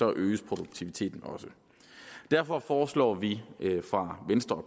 øges produktiviteten også derfor foreslår vi fra venstres og